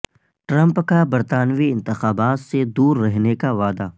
Trump کا برطانوی انتخابات سے دور رہنے کا وعدہ